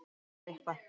Það var eitthvað.